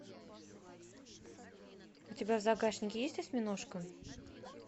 у тебя в загашнике есть осьминожка